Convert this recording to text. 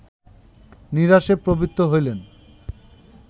নিরাসে প্রবৃত্ত হইলেন